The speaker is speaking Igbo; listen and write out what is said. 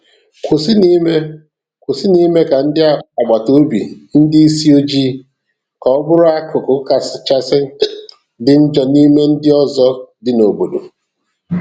Kwụsịnụ ime Kwụsịnụ ime ka ndị agbata obi ndị isi ojii ka ọ bụrụ akụkụ kachasị dị njọn'ime ndị ọzọ dị n'obodo.